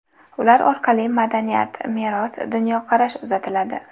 Ular orqali madaniyat, meros, dunyoqarash uzatiladi.